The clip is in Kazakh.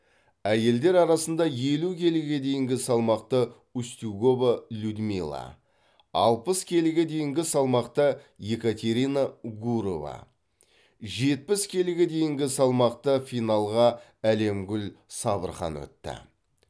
әйелдер арасында елу келіге дейінгі салмақта устюгова людмила алпыс келіге дейінгі салмақта екатерина гурова жетпіс келіге дейінгі салмақта финалға әлемгүл сабырхан өтті